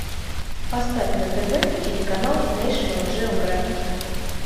поставь на тв телеканал нэйшнл джеографик